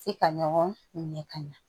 F'i ka ɲɔgɔn minɛ ka ɲa